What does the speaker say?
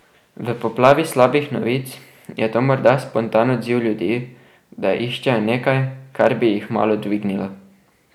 V poplavi slabih novic je to morda spontan odziv ljudi, da iščejo nekaj, kar bi jih malo dvignilo.